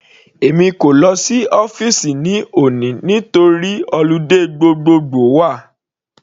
Èmi kò lọ sí ọ́fìsì ní òní nítorí holiday gbogbogbo wà.